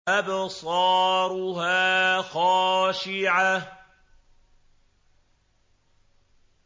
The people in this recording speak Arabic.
أَبْصَارُهَا خَاشِعَةٌ